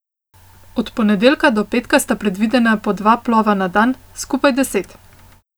Od ponedeljka do petka sta predvidena po dva plova na dan, skupaj deset.